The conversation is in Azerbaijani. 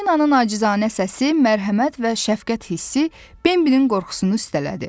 Falinanın acizanə səsi mərhəmət və şəfqət hissi Bəbinin qorxusunu üstələdi.